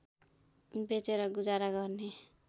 बेचेर गुजारा गर्ने